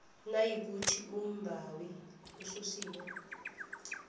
nayikuthi umbawi ususiwe